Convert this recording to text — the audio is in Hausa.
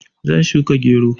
Zan shuka gero.